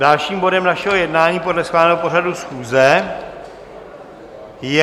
Dalším bodem našeho jednání podle schváleného pořadu schůze je